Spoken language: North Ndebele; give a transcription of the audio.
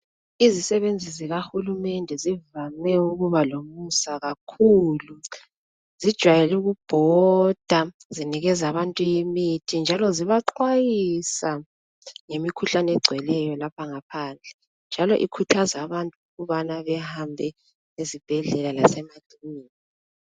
Izisebenzi zikahulumende zivame ukuba lomusa kakhulu zijwayele ukubhoda zinikeza abantu imithi njalo zibaxhwayisa ngemikhuhlane egcweleyo lapha ngaphandle njalo ikhuthaza abantu kubana behambe ezibhedlela lasemakilinika.